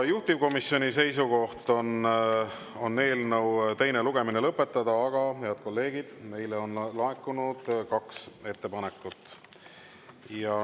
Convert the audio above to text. Juhtivkomisjoni seisukoht on eelnõu teine lugemine lõpetada, aga, head kolleegid, meile on laekunud kaks ettepanekut.